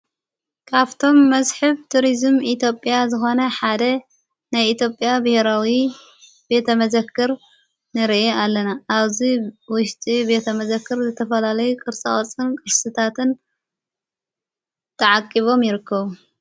ካብቶም መዝሕብ ቱርዝም ኢቲጵያ ዝኾነ ሓደ ናኢቴጵያ ብኅራዊ ቤተ መዘክር ንርአ ኣለና ኣዙይ ወሽጢ ቤተ መዘክር ዘተፈላለይ ቕርጽወጽን ቅስታትን ተዓቂቦም ይርከቡ።